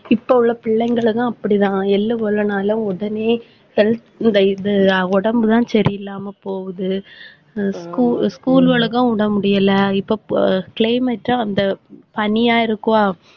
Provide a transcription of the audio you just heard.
இப்ப உள்ள பிள்ளைங்களைதான் அப்படிதான் எள்ளு கொள்ளுனாலும் உடனே health இந்த இது உடம்புதான் சரியில்லாம போகுது school களுக்கும் விட முடியல. இப்ப climate அந்த பனியா இருக்கும்.